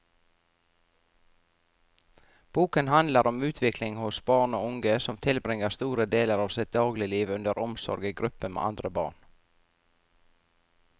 Boken handler om utvikling hos barn og unge som tilbringer store deler av sitt dagligliv under omsorg i gruppe med andre barn.